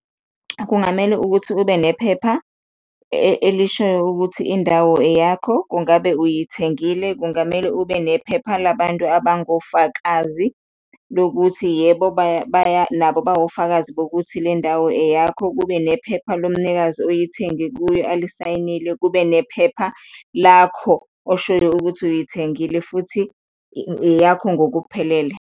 Kungamele ukuthi kube nephepha elishoyo ukuthi indawo eyakho, ungabe uyithengile? Kungamele ube nephepha labantu abangofakazi lokuthi yebo, nabo bawofakazi bokuthi le ndawo eyakho, kube nephepha lomnikazi oyithenge kuye alisayinile, kube nephepha lakho oshoyo ukuthi uyithengile futhi eyakho ngokuphelele.